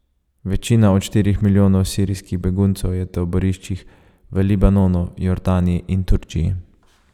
Večina od štirih milijonov sirskih beguncev je v taboriščih v Libanonu, Jordaniji in Turčiji.